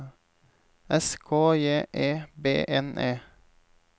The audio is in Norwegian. S K J E B N E